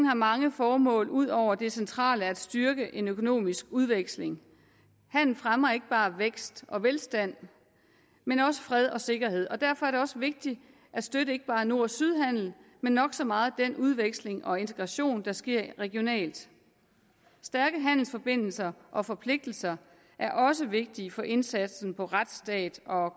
har mange formål ud over det centrale at styrke en økonomisk udveksling handel fremmer ikke bare vækst og velstand men også fred og sikkerhed derfor er det også vigtigt at støtte ikke bare nord syd handel men nok så meget den udveksling og integration der sker regionalt stærke handelsforbindelser og forpligtelser er også vigtige for indsatsen for retsstat og